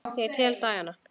Ég tel dagana.